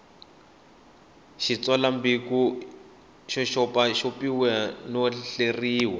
xitsalwambiko xi xopaxopiwile no hleriwa